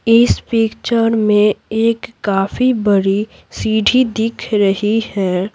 इस पिक्चर में एक काफी बड़ी सीढ़ी दिख रही है।